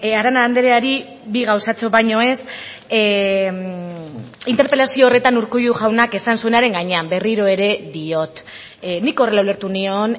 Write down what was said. arana andreari bi gauzatxo baino ez interpelazio horretan urkullu jaunak esan zuenaren gainean berriro ere diot nik horrela ulertu nion